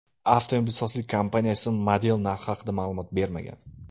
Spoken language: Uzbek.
Avtomobilsozlik kompaniyasi model narxi haqida ma’lumot bermagan.